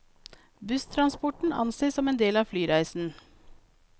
Busstransporten anses som en del av flyreisen.